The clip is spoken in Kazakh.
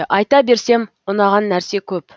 айта берсем ұнаған нәрсе көп